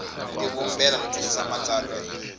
tivumbela no twisisa matsalwa hi